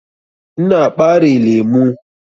Ina ɓare lemu.